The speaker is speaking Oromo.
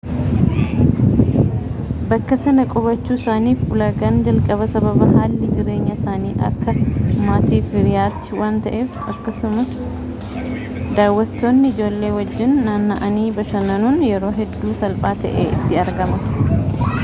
bakka sanaa qubachuu isaaniif ulaagaan jalqaba sababa haalli jireenya isaanii akka maatiif hiriyaatti waan ta'eef akkasumas daawwatootni ijoollee wajjin naanna'anii bashannanuun yeroo hedduu salphaa ta'ee itti argama